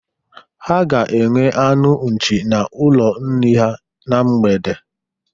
Ha ga-enwe anụ nchi n'ụlọ nri ha na mgbede.